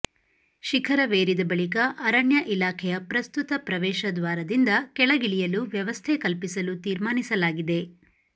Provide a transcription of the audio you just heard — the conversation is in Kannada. ಶಿಖರವೇರಿದ ಬಳಿಕ ಅರಣ್ಯ ಇಲಾಖೆಯ ಪ್ರಸ್ತುತ ಪ್ರವೇಶ ದ್ವಾರದಿಂದ ಕೆಳಗಿಳಿ ಯಲು ವ್ಯವಸ್ಥೆ ಕಲ್ಪಿಸಲು ತೀರ್ಮಾನಿಸಲಾಗಿದೆ